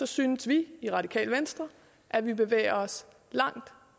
synes vi i radikale venstre at vi bevæger os langt